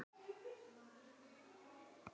Næsta morgun var komin þoka.